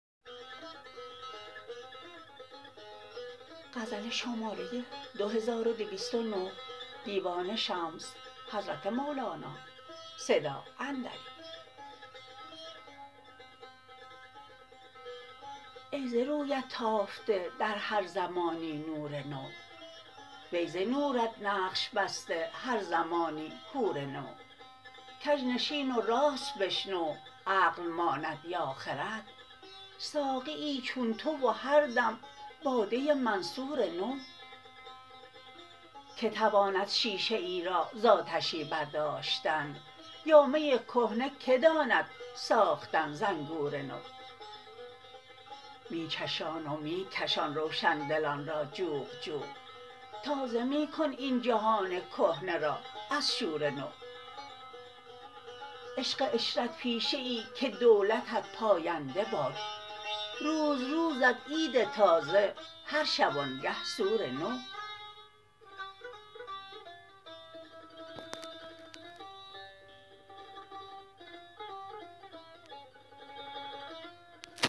ای ز رویت تافته در هر زمانی نور نو وی ز نورت نقش بسته هر زمانی حور نو کژ نشین و راست بشنو عقل ماند یا خرد ساقیی چون تو و هر دم باده منصور نو کی تواند شیشه ای را ز آتشی برداشتن یا می کهنه کی داند ساختن ز انگور نو می چشان و می کشان روشن دلان را جوق جوق تازه می کن این جهان کهنه را از شور نو عشق عشرت پیشه ای که دولتت پاینده باد روز روزت عید تازه هر شبانگه سور نو